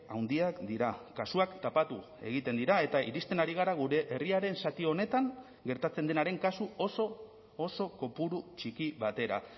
handiak dira kasuak tapatu egiten dira eta iristen ari gara gure herriaren zati honetan gertatzen denaren kasu oso oso kopuru txiki batera